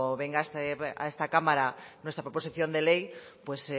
venga a esta cámara nuestra proposición de ley pues